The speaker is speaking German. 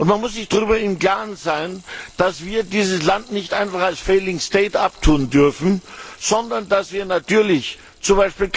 Man muss sich darüber im Klaren sein, dass wir dieses Land nicht einfach als failing state abtun dürfen, sondern dass wir natürlich z.